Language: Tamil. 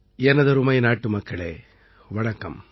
எனதருமை நாட்டுமக்களே வணக்கம்